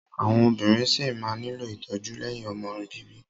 Àwọn obìnrin ṣí máa nílò ìtọ́jú lẹ́yìn ọmọ bíbí.